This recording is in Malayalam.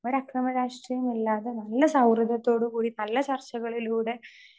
സ്പീക്കർ 2 ഒരു അക്രമ രാഷ്ട്രീയം ഇല്ലാതെ നല്ല സൗഹൃദത്തോടുകൂടി നല്ല ചർച്ചകളിലൂടെ